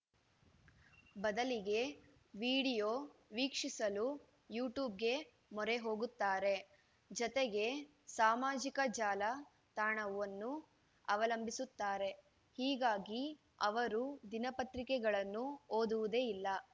ಬದಲಿಗೆ ವೀಡಿಯೋ ವೀಕ್ಷಿಸಲು ಯು ಟೂಬ್‌ಗೆ ಮೊರೆ ಹೋಗುತ್ತಾರೆ ಜತೆಗೆ ಸಾಮಾಜಿಕ ಜಾಲ ತಾಣವನ್ನೂ ಅವಲಂಬಿಸುತ್ತಾರೆ ಹೀಗಾಗಿ ಅವರು ದಿನಪತ್ರಿಕೆಗಳನ್ನು ಓದುವುದೇ ಇಲ್ಲ